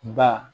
Ba